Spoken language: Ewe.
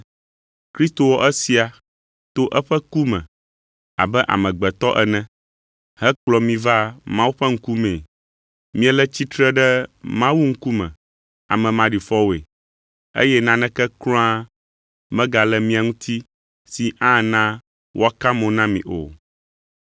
Kristo wɔ esia to eƒe ku me abe amegbetɔ ene, hekplɔ mi va Mawu ƒe ŋkumee; miele tsitre ɖe Mawu ŋkume ame maɖifɔwoe, eye naneke kura megale mia ŋuti si ana woaka mo na mi o.